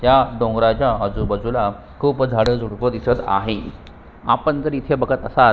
ह्या डोंगराच्या आजूबाजूला खुप झाड झुडप दिसत आहे आपण जर इथे बघत असाल तर--